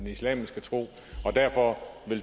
islamiske tro og derfor